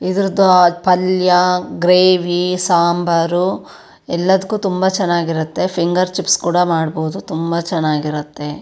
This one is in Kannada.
ಇದರದೋ ಪಲ್ಯ ಗ್ರೇವಿ ಸಾಂಬಾರು ಎಲ್ಲದಕ್ಕು ತುಂಬಾ ಚನ್ನಾಗಿರುತ್ತೆ ಫಿಂಗರ್ ಚಿಪ್ಸ್ ಕೂಡ ಮಾಡಬಹುದು ತುಂಬಾ ಚನ್ನಾಗಿರುತ್ತೆ.